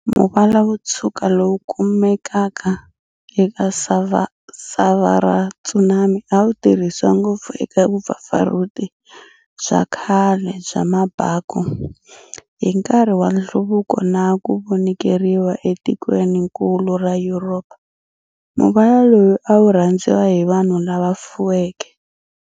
Muvala wotshwuka lowu kumekaka eka sava ra tsumani awu tirhisiwa ngopfu eka vupfapfarhuti bya khale bya mabaku. Hinkarhi wa nhluvuko na kuvonikeriwa e tikweninkulu ra Yuropa, muvala lowu awurhandziwa hi vanhu lava fuweke.